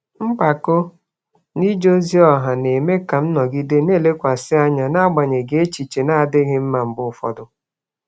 Mpako n'ije ozi ọha na-eme ka m nọgide na-elekwasị anya n'agbanyeghị echiche na-adịghị mma mgbe ụfọdụ.